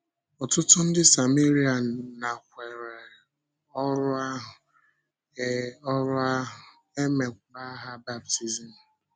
Ọtụtụ ndị Sáméria nakwèrè ọ́rụ ahụ, e ọ́rụ ahụ, e meekwa ha baptizim.